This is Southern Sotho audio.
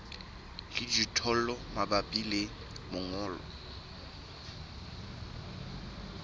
le dijothollo mabapi le mongobo